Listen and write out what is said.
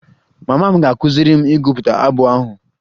Mama m ga-akụziri m ịgụpụta abụ ahụ